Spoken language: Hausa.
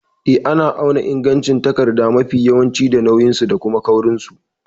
Eh, ana auna ingancin takarda mafi yawanci da nauyinsu da kuma kaurinsu.